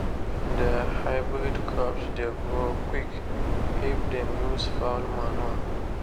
their hybrid crops dey grow quick if dem use fowl manure.